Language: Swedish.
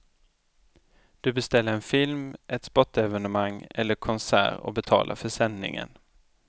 Du beställer en film, ett sportevenemang eller konsert och betalar för sändningen.